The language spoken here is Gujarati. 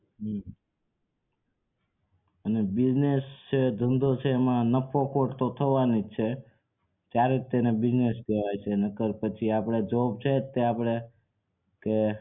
હમ્મ અને business એમાં નફો ખોટ તો થવાની જ છે ત્યારેજ તો એને business કેવાય છે નકર આપડે જોબ છે જ તે આપડે કે